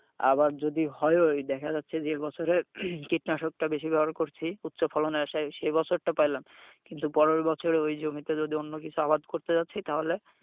আবার যদি হয়ও ওই দেখা যাচ্ছে যে যে বছরে কীটনাশকটা বেশি ব্যবহার করছি উচ্চ ফলনের আশায় সেই বছরটা পাইলাম কিন্তু পরের বছরে ওই জমিতে যদি অন্য কিছু আবাদ করতে যাচ্ছি তাহলে,